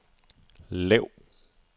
lav